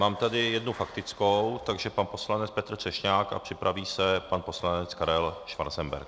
Mám tady jednu faktickou, takže pan poslanec Petr Třešňák a připraví se pan poslanec Karel Schwarzenberg.